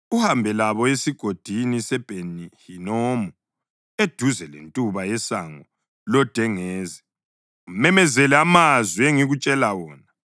uhambe labo esigodini seBheni-Hinomu, eduze lentuba yeSango loDengezi. Umemezele amazwi engikutshela wona,